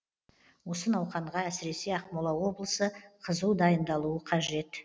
осы науқанға әсіресе ақмола облысы қызу дайындалуы қажет